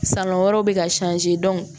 San wɛrɛw bɛ ka